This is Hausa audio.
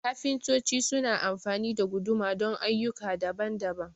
kafintoci su na amfani da guduma don ayyuka daban-daban